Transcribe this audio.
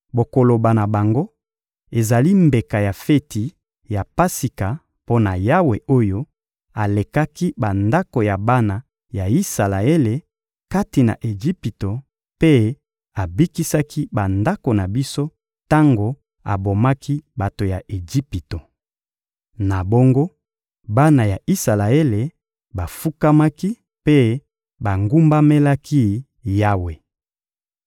Bokoloba na bango: ‹Ezali mbeka ya feti ya Pasika mpo na Yawe oyo alekaki bandako ya bana ya Isalaele kati na Ejipito mpe abikisaki bandako na biso tango abomaki bato ya Ejipito.›» Na bongo, bana ya Isalaele bafukamaki mpe bagumbamelaki Yawe.